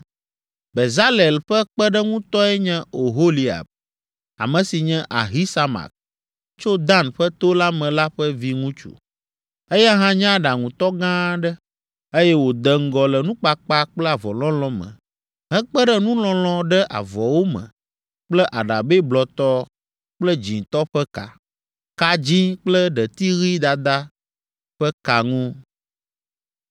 Bezalel ƒe kpeɖeŋutɔe nye Oholiab, ame si nye Ahisamak, tso Dan ƒe to la me la ƒe viŋutsu. Eya hã nye aɖaŋutɔ gã aɖe, eye wòde ŋgɔ le nukpakpa kple avɔlɔlɔ̃ me hekpe ɖe nulɔlɔ̃ ɖe avɔwo me kple aɖabɛ blɔtɔ kple dzĩtɔ ƒe ka, ka dzĩ kple ɖeti ɣi dada ƒe ka ŋu.